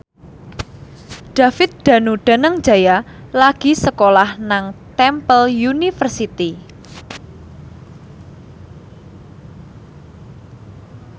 David Danu Danangjaya lagi sekolah nang Temple University